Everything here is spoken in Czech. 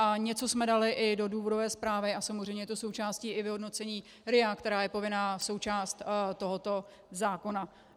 A něco jsme dali i do důvodové zprávy a samozřejmě je to součástí i vyhodnocení RIA, která je povinná součást tohoto zákona.